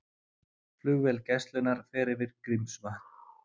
Flugvél Gæslunnar fer yfir Grímsvötn